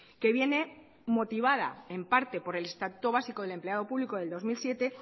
que viene motivada en parte por el estatuto básico del empleado público del dos mil siete